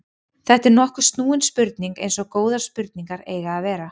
Þetta er nokkuð snúin spurning eins og góðar spurningar eiga að vera.